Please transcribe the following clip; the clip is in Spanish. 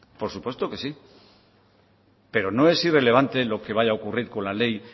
por supuesto que sí pero no es irrelevante lo que vaya a ocurrir con la ley